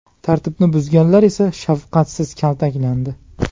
Tartibni buzganlar esa shafqatsiz kaltaklandi.